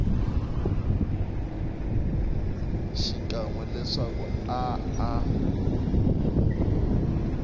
xikan we leswaku a a